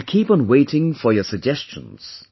I will keep on waiting for your suggestions